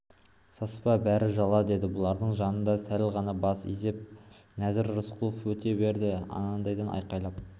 саспа бәрі жала деді бұлардың жанынан сәл ғана бас изеп нәзір төреқұлов өте берді анадайдан айқайлап